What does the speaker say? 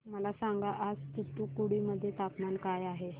मला सांगा आज तूतुकुडी मध्ये तापमान काय आहे